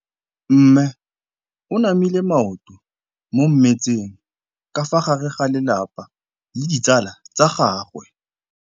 Mme o namile maoto mo mmetseng ka fa gare ga lelapa le ditsala tsa gagwe.